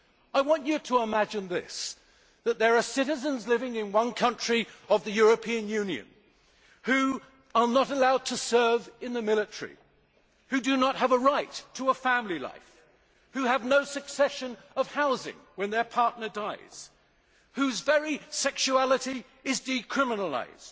I want you to imagine that there are citizens living in one country of the European Union who are not allowed to serve in the military, who do not have a right to a family life, who have no succession of housing when their partner dies, whose very sexuality is criminalised,